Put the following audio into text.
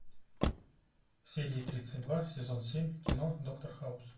серия тридцать два сезон семь кино доктор хаус